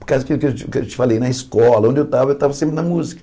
Por causa do que eu te te te falei, na escola, onde eu estava, eu estava sempre na música.